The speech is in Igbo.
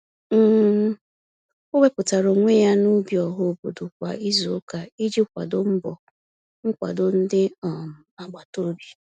um O wepụtara onwe ya n'ubi ọhaobodo kwa izuụka iji kwado mbọ nkwado ndị um agbataobi.